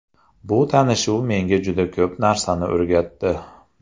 Bu tanishuv menga juda ko‘p narsani o‘rgatdi.